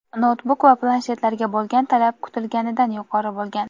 noutbuk va planshetlarga bo‘lgan talab kutilganidan yuqori bo‘lgan.